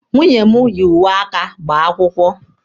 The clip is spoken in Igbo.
Nwunye m yi uwe aka gbaa akwụkwọ.